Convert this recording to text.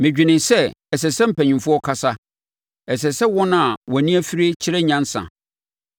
Medwenee sɛ, ‘Ɛsɛ sɛ mpanimfoɔ kasa; ɛsɛ sɛ wɔn a wɔn ani afire kyerɛ nyansa.’